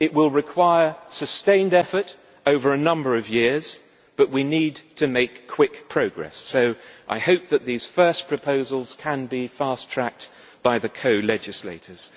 It will require sustained effort over a number of years, but we need to make quick progress, so I hope that these first proposals can be fast tracked by the co legislators.